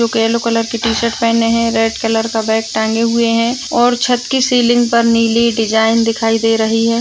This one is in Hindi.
जोकि यैलो कलर की टी-शर्ट पहने है रेड कलर का बैग टांगे हुए हैं और छत की सिलिंग पर नीली डिजाइन दिखाई दे रही है।